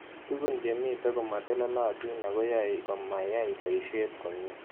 Tug�n che mito komatelelatin ako yae komayai poishet komie